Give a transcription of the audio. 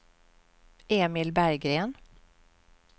Emil Berggren